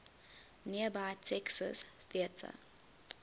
nearby texas theater